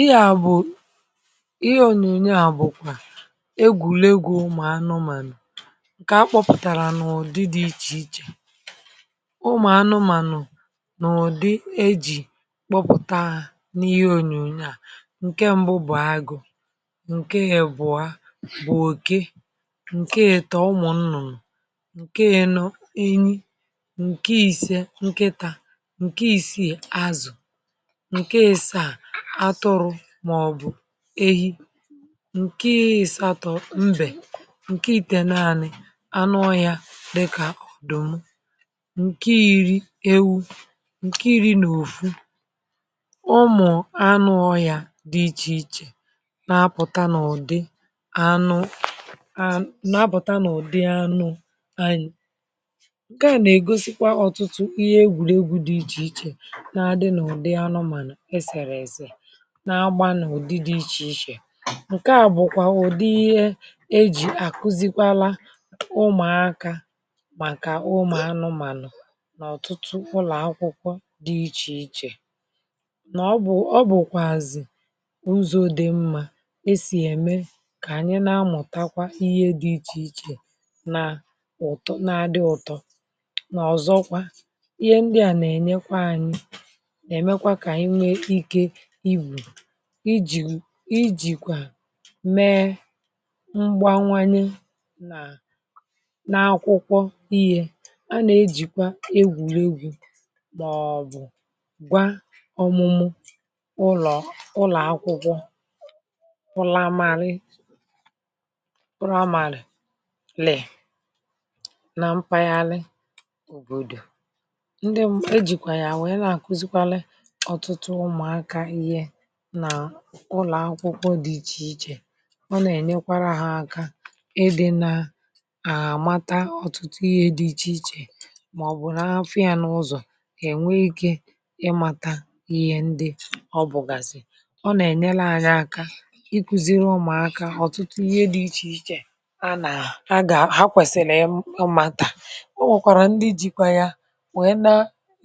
ihea bu, ihe ònyònyo à bụ̀kwà egwùlegwu̇ ụmụ̀anụmànụ̀ ǹkè akpọpụ̀tàrà n’ụ̀dị dị̇ ichè ichè ụmụ̀anụmànụ̀ n’ụ̀dị ejì kpọpụ̀ta ha n’ihe ònyònyo à ǹke mbụ bụ̀ agụ̇ ǹke ibụ̀a bụ̀ òke ǹke etò ụmụ̀ nnụ̀nụ̀ ǹke ino enyi ǹke ise nkịtȧ ǹke isii azụ̀ nke asaa atụrụ màọbụ̀ ehi ǹkè isato mbè ǹkè iteneani anụ ọhà dịkà òdumụ ǹkè iri ewu ǹkè iri na òfu ụmụ̀ anụ ọhà dị ichè ichè nà-apụ̀ta n’ụ̀dị anụ ànà nà-apụ̀ta n’ụ̀dị nke a nà-ègosikwa ọtụtụ ihe egwùregwu̇ dị ichè ichè nà-adị n’ụ̀dị anụ̇mànu esèrè èse na agbanù ụ̀dị dị ichè ichè ǹke à bụ̀kwà ụ̀dị ihe ejì àkuzikwala ụmụ̀akȧ màkà ụmụ̀anụmànụ̀ n’ọ̀tụtụ ụlọ̀akwụkwọ dị ichè ichè nà ọ bụ̀ ọ bụ̀kwàzị̀ ụzọ̇ dị̀ mmȧ esì ème kà ànyị na-amụ̀takwa ihe dị̇ ichè ichè na um na-adị ụ̀tọ nà ọ̀zọkwa ihe ndị à nà-ènyekwa anyị̇ nà-èmekwa kà ihe ike ijìkwà mee mgbanwanye nà n’akwụkwọ ihė a nà-ejìkwa egwùregwu̇ màọ̀bụ̀ gwa ọmụmụ ụlọ̀ ụlọ̀ akwụkwọ praimàrị praimàrị lèè nà mpaghara òbòdò ndi e jìkwà ya nwèe nà-àkuzikwali ọtụtụ ụmụ̀akȧ ihe nà ụlọ̀ akwụkwọ dị̇ ichè ichè ọ nà-ènyekwara hȧ aka ịdị̇ na àmata ọ̀tụtụ ihe dị̇ ichè ichè màọbụ̀ n’afọ̇ yȧ n’ụzọ̀ kà ènwe ikė ịmȧtȧ ihe ndị ọ bụ̀gàsị̀ ọ nà-ènyere ànyị aka iku̇ziri ụmụ̀aka ọ̀tụtụ ihe dị̇ ichè ichè a nà a gà a ha kwèsìlì ọ màtà o nwèkwàrà ndị jikwa yȧ nwèrè na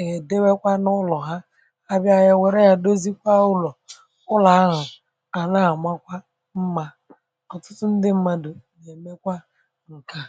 èdewekwa n’ụlọ̀ ha abịȧ yȧ wère yȧ dozikwa ụlọ̀ ụlọ̀ ahụ̀ àna àmakwa mmȧ ọ̀tụtụ ndị mmadụ̀ èmekwa ǹkè a.